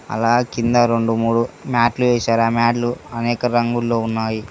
అలా కింద రెండు మూడు మ్యాట్లు వేసారు ఆ మ్యాట్లు అనేక రంగుల్లో ఉన్నాయి.